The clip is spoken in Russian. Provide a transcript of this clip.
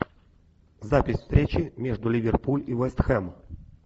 запись встречи между ливерпуль и вест хэм